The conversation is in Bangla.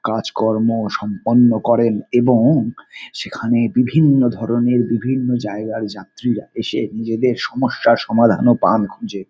কাজকর্ম সম্পন্ন করেন এবং সেখানে বিভিন্ন ধরনের বিভিন্ন জায়গার যাত্রীরা এসে নিজেদের সমস্যার সমাধানও পান খুঁজে।